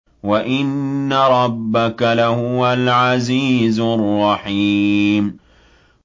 وَإِنَّ رَبَّكَ لَهُوَ الْعَزِيزُ الرَّحِيمُ